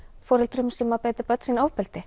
foreldrum sem beita börn sín ofbeldi